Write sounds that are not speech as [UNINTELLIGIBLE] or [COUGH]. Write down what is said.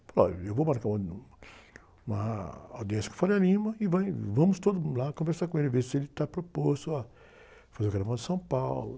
Ele falou, olha, eu vou marcar uma, [UNINTELLIGIBLE] uma audiência com o [UNINTELLIGIBLE] e vai, vamos todo mundo lá conversar com ele, ver se ele está proposto a fazer o carnaval de São Paulo.